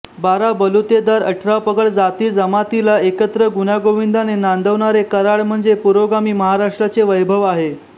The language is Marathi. बारा बलुतेदार अठरा पगड जाती जमातीला एकत्र गुण्यागोविंदाने नांदवणारे कराड म्हणजे पुरोगामी महाराष्ट्राचे वैभव आहे